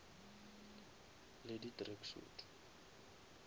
le di track suit